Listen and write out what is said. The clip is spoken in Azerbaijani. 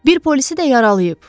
Bir polisi də yaralayıb.